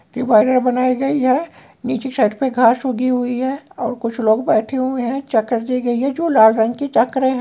Divider बनाई गई है नीचे साइड पर घास लगी हुई है और कुछ लोग बैठे हुए हैं चक्कर दी गई है जो लाल रंग की चक्करें हैं।